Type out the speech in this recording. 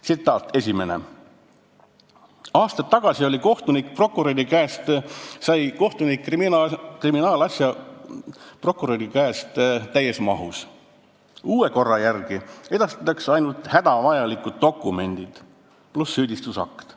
Esimene tsitaat: "Aastaid tagasi sai kohtunik prokuröri käest kriminaalasja täies mahus, uue korra järgi edastatakse ainult hädavajalikud dokumendid pluss süüdistusakt.